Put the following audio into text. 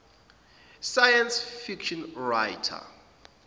science fiction writer